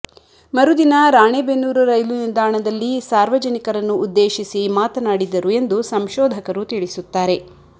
ಮರುದಿನ ರಾಣೆಬೆನ್ನೂರು ರೈಲು ನಿಲ್ದಾಣದಲ್ಲಿ ಸಾರ್ವಜನಿಕರನ್ನು ಉದ್ದೇಶಿಸಿ ಮಾತನಾಡಿದ್ದರು ಎಂದು ಸಂಶೋಧಕರು ತಿಳಿಸುತ್ತಾರೆ